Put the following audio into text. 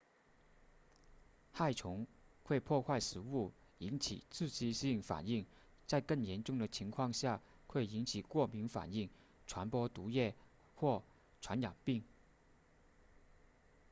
害虫会破坏食物引起刺激性反应在更严重的情况下会引起过敏反应传播毒液或传染病